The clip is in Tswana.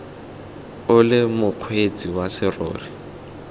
o le mokgweetsi wa serori